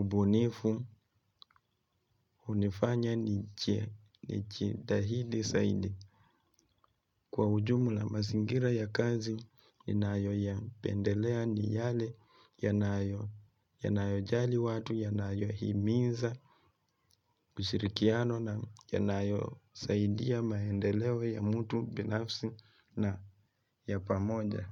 ubunifu hunifanya ni jitahidi zaidi, kwa ujumla mazingira ya kazi ninayo ya pendelea ni yale yanayo jali watu, yanayo himiza ushirikiano na yanayo saidia maendeleo ya mtu binafsi na ya pamoja.